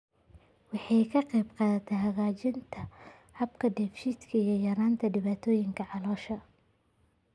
Waxay ka qaybqaadataa hagaajinta habka dheef-shiidka iyo yaraynta dhibaatooyinka caloosha.